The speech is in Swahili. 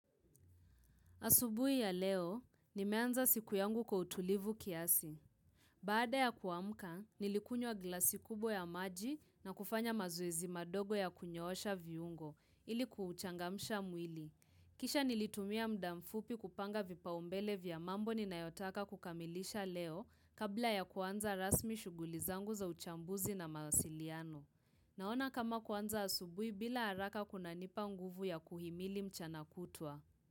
Asubuhi ya leo, nimeanza siku yangu kwa utulivu kiasi. Baada ya kuamka, nilikunywa glasi kubwa ya maji na kufanya mazoezi madogo ya kunyoosha viungo, ili kuchangamsha mwili. Kisha nilitumia muda mfupi kupanga vipaumbele vya mambo ninayotaka kukamilisha leo kabla ya kuanza rasmi shughuli zangu za uchambuzi na mawasiliano. Naona kama kuanza asubui bila haraka kunanipa nguvu ya kuhimili mchana kutwa.